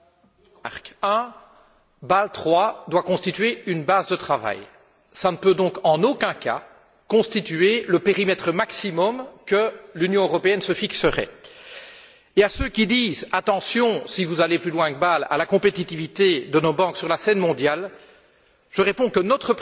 Madame la Présidente, Bâle III doit constituer une base de travail et ne peut donc en aucun cas constituer le périmètre maximum que l'Union européenne se fixerait. À ceux qui disent attention, si vous allez plus loin que Bâle, à la compétitivité de nos banques sur la scène mondiale, je réponds que la